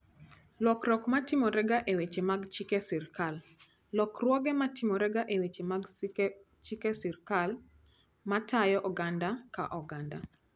Lokruok ma timorega e weche mag chike sirkal: Lokruoge ma timorega e weche mag chike ma tayo oganda ka oganda.